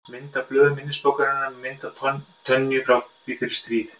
Mynd af blöðum minnisbókarinnar með mynd af Tönyu frá því fyrir stríð.